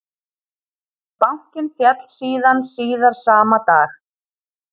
Bankinn féll síðan síðar sama dag